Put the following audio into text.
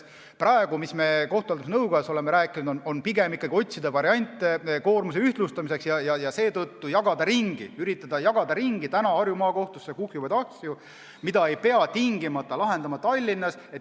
Praegu me oleme kohtute haldamise nõukojas rääkinud, et pigem tuleks ikkagi otsida variante koormuse ühtlustamiseks ja üritada jagada ümber Harju Maakohtusse kuhjuvaid asju, mida ei pea tingimata lahendama Tallinnas.